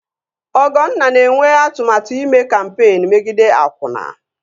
Ọgọnna na-enwe atụmatụ ime kampeen megide akwụna